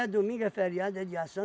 domingo, é feriado, é dia